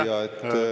Aitäh!